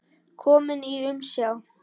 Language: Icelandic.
Kominn í umsjá